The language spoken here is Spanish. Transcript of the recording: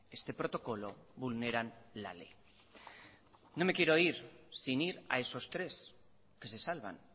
este protocolo vulneran la ley no me quiero ir sin ir a esos tres que se salvan